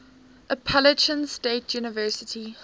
appalachian state university